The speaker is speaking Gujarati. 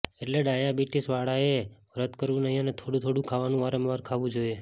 એટલે ડાયાબિટીસ વાળાએ વ્રત કરવું નહીં અને થોડું થોડું ખાવાનું વારંવાર ખાવું જોઈએ